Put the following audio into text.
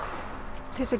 til að